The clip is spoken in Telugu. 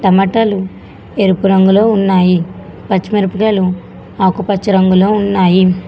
టమాటాలు ఎరుపు రంగులో ఉన్నాయి పచ్చి మిరపకాయలు ఆకుపచ్చ రంగులో ఉన్నాయి.